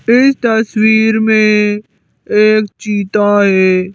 इस तस्वीर में एक चीता है।